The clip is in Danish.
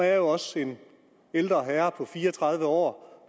er også en ældre herre på fire og tredive år